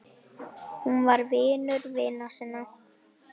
Hún var vinur vina sinna.